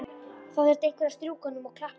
Það þurfti einhver að strjúka honum og klappa.